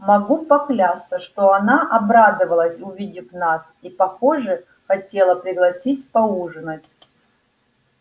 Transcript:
могу поклясться что она обрадовалась увидев нас и похоже хотела пригласить поужинать